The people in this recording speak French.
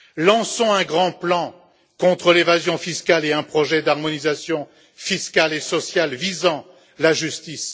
Lançons un grand plan contre l'évasion fiscale et un projet d'harmonisation fiscale et sociale visant la justice.